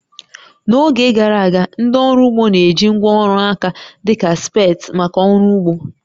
N'oge gara aga, ndị ọrụ ugbo na-eji ngwá ọrụ aka dị ka spades maka ọrụ ugbo